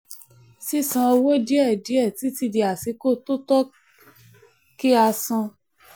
sísan owó díẹ̀ díẹ̀ títí di àsìkò tó tọ́ kí a san.